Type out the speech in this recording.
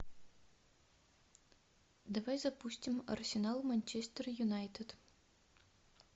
давай запустим арсенал манчестер юнайтед